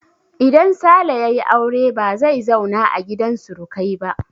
Idan Sale ya yi aure ba zai zauna a gidan surukai ba.